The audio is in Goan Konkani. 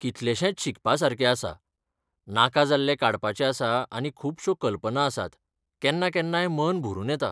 कितलेशेंच शिकपासारकें आसा, नाका जाल्लें काडपाचें आसा आनी खुबश्यो कल्पना आसात, केन्ना केन्नाय मन भरून येता.